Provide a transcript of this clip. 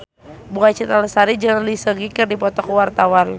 Bunga Citra Lestari jeung Lee Seung Gi keur dipoto ku wartawan